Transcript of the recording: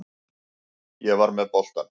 Ég var með boltann.